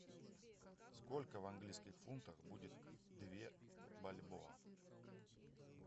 сколько в английских фунтах будет две бальбоа